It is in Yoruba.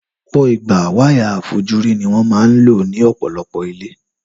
Lọpọ ìgbà wáyà àfojúrí ní wón man lo ní òpòlopò ilé